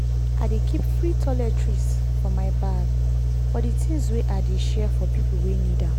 i dey keep free toiletries for my bag for di things wey i dey share for pipo wey need am.